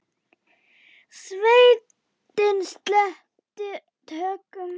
Sveitin sleppti tökum.